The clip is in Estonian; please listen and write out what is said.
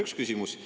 See on üks küsimus.